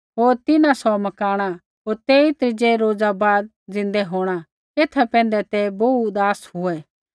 होर तिन्हां सौ मकाणा होर तेई त्रीज़ै रोज़ा बाद ज़िन्दै होंणा एथा पैंधै ते बोहू उदास हुऐ